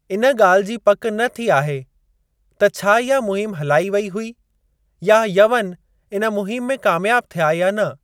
इन ॻाल्हि जी पक न थी आहे त छा इहा मुहिम हलाई वेई हुई या यवन इन मुहिम में कामयाब थिया या न।